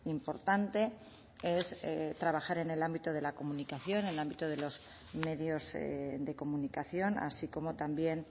importante es trabajar en el ámbito de la comunicación en el ámbito de los medios de comunicación así como también